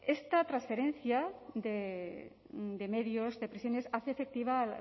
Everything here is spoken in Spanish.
esta transferencia de medios de prisiones hace efectiva